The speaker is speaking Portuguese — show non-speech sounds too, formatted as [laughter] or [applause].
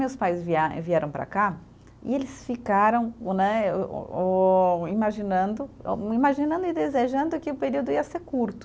Meus pais [unintelligible] vieram para cá e eles ficaram o né, o o imaginando, imaginando e desejando que o período ia ser curto.